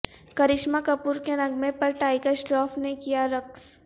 کرشمہ کپور کے نغمے پر ٹائیگر شراف نے کیا رقص